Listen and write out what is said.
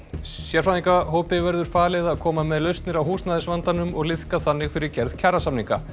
sérfræðingahópi verður falið að koma með lausnir á húsnæðisvandanum og liðka þannig fyrir gerð kjarasamninga